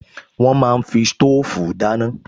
Wọ́n máa ń fi sítóòfù dáná